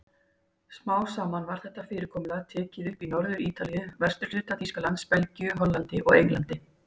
Smám saman var þetta fyrirkomulag tekið upp í Norður-Ítalíu, vesturhluta Þýskalands, Belgíu, Hollandi og Englandi.